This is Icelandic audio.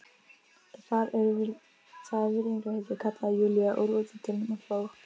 Það er virðingarheiti, kallaði Júlía úr útidyrunum og hló.